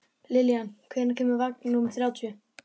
Lillian, hvenær kemur vagn númer þrjátíu?